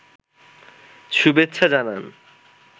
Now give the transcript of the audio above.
শুভেচ্ছা জানান